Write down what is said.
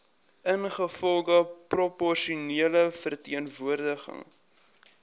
ingevolge proporsionele verteenwoordiging